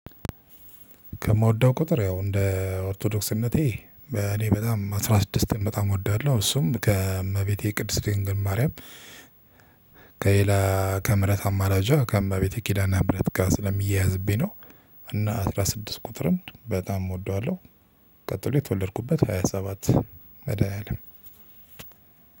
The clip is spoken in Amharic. ከምወደው ቁጥር ያው እንደ ኦርቶዶክስ እምነቴ እኔ በጣም አስራ ስድስት በጣም እወዳለሁ እሱም ከእመቤቴ ቅድስት ማርያም። ከሌላ ከምህረት አማላጇ ከእመቤቴ ኪላና ምህረት ጋር ስለሚያያዝብኝ ነው። እና አስራ ስድስት ቁጥርም በጣም እወደዋለሁ። ቀጥሎ የተወለድኩበት ሃያ ሰባት መዳኒያለም